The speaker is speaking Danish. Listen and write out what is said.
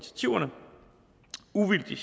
uvildig